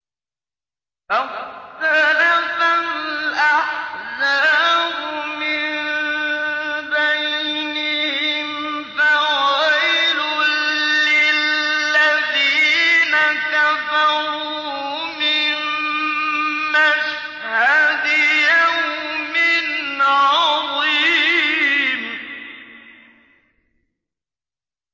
فَاخْتَلَفَ الْأَحْزَابُ مِن بَيْنِهِمْ ۖ فَوَيْلٌ لِّلَّذِينَ كَفَرُوا مِن مَّشْهَدِ يَوْمٍ عَظِيمٍ